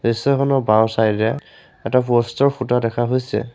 দৃশ্যখনৰ বাওঁছাইডে এটা প'ষ্টৰ খুঁটা দেখা হৈছে।